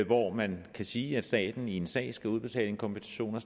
hvor man kan sige at staten i en sag skal udbetale en kompensation